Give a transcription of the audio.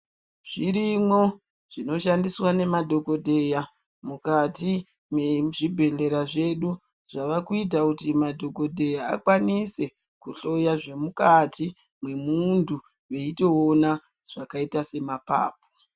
Zvirimwo zvinoshandiswa nemadhogodheya mukati mwezvibhehlera zvedu zvavakuita kuti madhogodheya akwanise kuhloya zvemukati mwemuntu veitoona zvakaita semapapu.